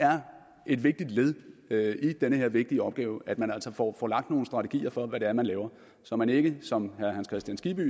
er et vigtigt led i den her vigtige opgave at man altså får får lagt nogle strategier for hvad det er man laver så man ikke som herre hans kristian skibby